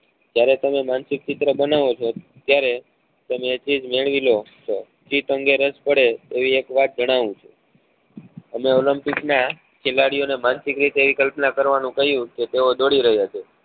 જયારે તમે માનસિક ચિત્ર બનાવો છો ત્યારે તમે એક ચીજ મેળવી લો છો ચિત્ર અને રસ પડે તો એક વાત જાણવું છું અમે olympic નાં ખેલાડીઓ ને માનસિક રીતે એક કલ્પના કરવા નું કહ્યું કે તેઓ દોડી રહ્યા છે